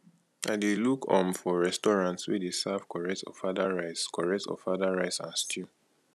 i dey look um for restaurant wey dey serve correct ofada rice correct ofada rice and stew